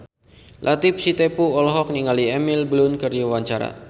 Latief Sitepu olohok ningali Emily Blunt keur diwawancara